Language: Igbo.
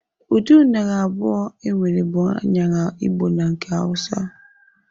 Ụdị aṅara abụọ enwere bụ aṅara Igbo na nke Awusa.